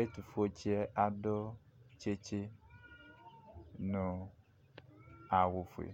ɛto fue tsiɛ ado tsitsi no awu fue